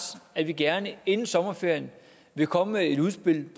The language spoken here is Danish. at vi gerne inden sommerferien vil komme med et udspil